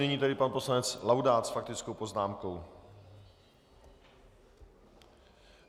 Nyní tedy pan poslanec Laudát s faktickou poznámkou.